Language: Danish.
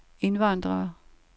indvandrere